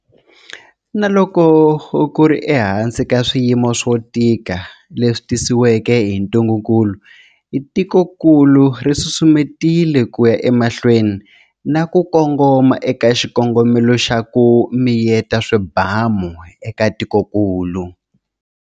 Na loko ku ri ehansi ka swiyimo swo tika leswi tisiweke hi ntungukulu, tikokulu ri susumetile ku ya emahlweni na ku kongoma eka xikongomelo xa ku miyeta swibamu eka tikokulu.